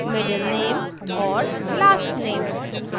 middle _ name और last _ name